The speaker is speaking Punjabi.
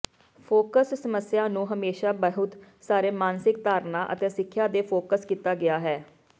ਫੋਕਸ ਸਮੱਸਿਆ ਨੂੰ ਹਮੇਸ਼ਾ ਬਹੁਤ ਸਾਰੇ ਮਾਨਸਿਕ ਧਾਰਨਾ ਅਤੇ ਸਿੱਖਿਆ ਦੇ ਫੋਕਸ ਕੀਤਾ ਗਿਆ ਹੈ